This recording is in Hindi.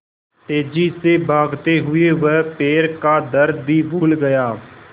तेज़ी से भागते हुए वह पैर का दर्द भी भूल गया